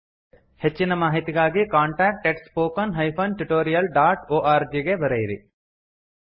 ಹೆಚ್ಚಿನ ಮಾಹಿತಿಗಾಗಿ contact at spoken hyphen tutorial dot org ಗೆ ಬರೆಯಿರಿ